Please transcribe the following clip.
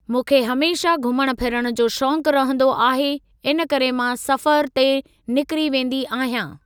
मूंखे हमेशा घुमण फिरण जो शौक़ु रहिंदो आहे इन करे मां सफ़रु ते निकरी वेंदी आहियां।